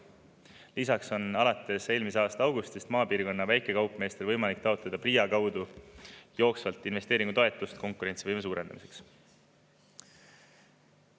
Lisaks on alates eelmise aasta augustist maapiirkonna väikekaupmeestel võimalik taotleda PRIA kaudu jooksvalt investeeringutoetust konkurentsivõime suurendamiseks.